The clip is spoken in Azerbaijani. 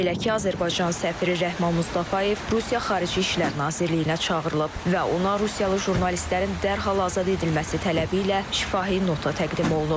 Belə ki, Azərbaycan səfiri Rəhman Mustafayev Rusiya Xarici İşlər Nazirliyinə çağırılıb və ona rusiyalı jurnalistlərin dərhal azad edilməsi tələbi ilə şifahi nota təqdim olunub.